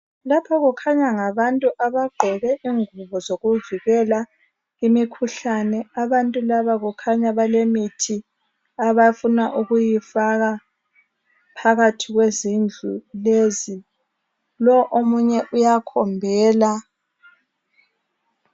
Lapha kukhanya ngabantu abagqoke ingubo zokuvikela imikhuhlane. Abantu laba kukhanya balemithi abafuna ukuyifaka phakathi kwezindlu lezi. Lo omunye uyakhombela.